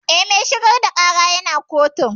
Eh, mai shigar da ƙara ya na kotun